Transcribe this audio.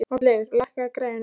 Oddleifur, lækkaðu í græjunum.